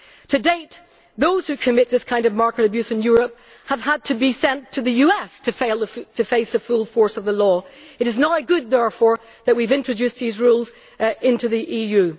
To date, those who commit this kind of market abuse in Europe have had to be sent to the US to face the full force of the law. It is now good, therefore, that we have introduced these rules into the EU.